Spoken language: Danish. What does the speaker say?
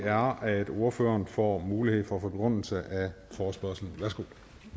er at ordføreren får mulighed for begrundelse af forespørgslen værsgo